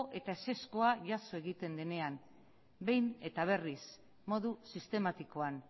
eta ezezkoa jaso egiten denean behin eta berriz modu sistematikoan